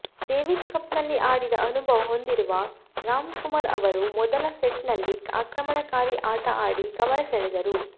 Davis ಕಪ್ನಲ್ಲಿ ಆಡಿದ ಅನುಭವ ಹೊಂದಿರುವ ರಾಮಕುಮಾರ್ ಅವರು ಮೊದಲ ಸೆಟ್ನಲ್ಲಿ ಆಕ್ರಮಣಕಾರಿ ಆಟ ಆಡಿ ಗಮನ ಸೆಳೆದರು